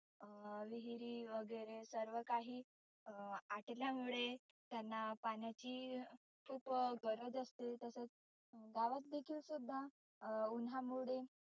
अं विहिरी वगैरे सर्व काही अं आटल्यामुळे त्यांना पाण्याची खुप गरज असते. तसेच गावात देखील सुद्धा अं उन्हामुळे